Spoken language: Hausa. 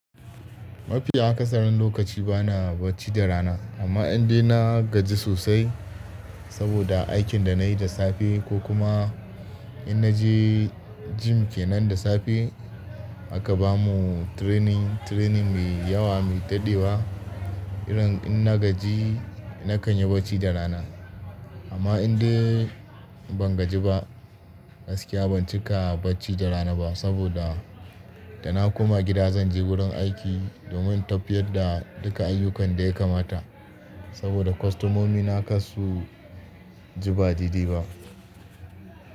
Mafiya aka saran lokaci bana bacci da rana, amma in dai na gaji sosai saboda aikin da nayi da safe ko kuma in naje gym kenan da safe aka bamu training, training mai yawa mai dadewa, irin in na gaji nakan yi bacci da rana. Amma in dai ban gaji ba gaskiya ban cika bacci da rana ba saboda da na koma gida zan je wurin aiki domin tafiyar da duka ayyukan da ya kamata saboda kostomomi na kar su ji badede ba.